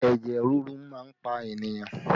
Ẹ̀jẹ̀ ríru máa ń pa ènìyàn